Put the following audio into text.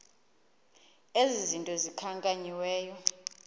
ezi zinto zikhankanyiweyo